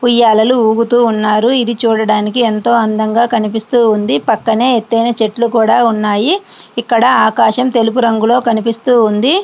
ఉయ్యాలలు ఊగుతూ ఉన్నారు. ఇది చూడడానికి ఎంతో అందంగా కనిపిస్తుంది. పక్కనే ఎత్తైన చెట్లు కూడా ఉన్నాయి. ఇక్కడ ఆకాశం తెలుగు రంగులో కనిపిస్తూ ఉంది.